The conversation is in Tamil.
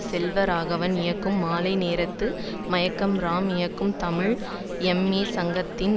செல்வராகவன் இயக்கும் மாலை நேரத்து மயக்கம் ராம் இயக்கும் தமிழ் எம்ஏ சங்கித்சிங்